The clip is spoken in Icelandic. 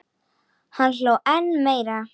Hann hló enn meira.